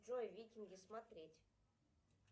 джой викинги смотреть